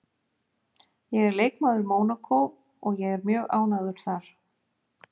Ég er leikmaður Mónakó og ég er mjög ánægður þar